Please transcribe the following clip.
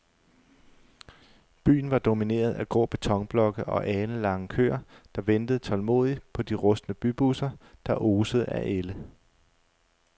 Byen var domineret af grå betonblokke og alenlange køer, der ventede tålmodigt på de rustne bybusser, der osede af ælde.